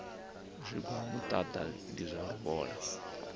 zwigwa muṱaḓa ndi zwa luvhola